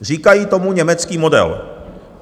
Říkají tomu německý model.